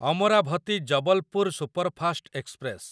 Amravati Jabalpur superfast express